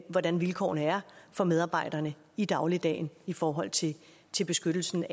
hvordan vilkårene er for medarbejderne i dagligdagen i forhold til til beskyttelse når